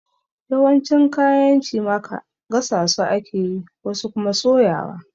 Yawancin kayan cimaka gasa su ake yi, wasu kuma soyawa.